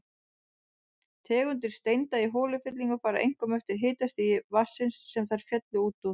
Tegundir steinda í holufyllingum fara einkum eftir hitastigi vatnsins, sem þær féllu út úr.